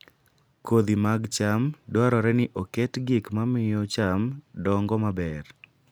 Kodhi mag cham dwarore ni oket gik mamiyo cham dongo maber